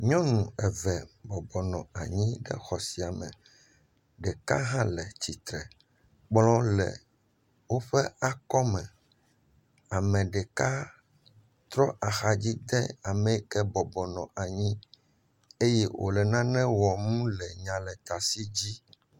Nyɔnu eve bɔbɔnɔ anyi ɖe xɔ sia me, ɖeka hã le tsitre kplɔ hã le woƒe akɔme. Ame ɖeka trɔ axa dzi de ame yi ke bɔbɔnɔ anyi eye wòle nane wɔm le nyalekasi dzi.